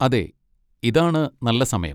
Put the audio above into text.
അതെ, ഇതാണ് നല്ല സമയം.